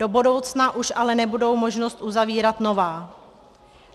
Do budoucna už ale nebude možnost uzavírat nová.